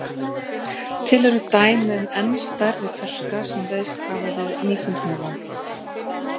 Til eru dæmi um enn stærri þorska sem veiðst hafa við Nýfundnaland.